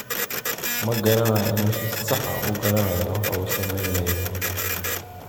ma garanayo inuu si sax ah u garanayay waxa uu samaynayo.